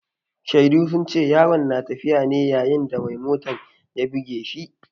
Shaidu sun ce yaron na tafiya ne yayin da mai motan ya buge shi.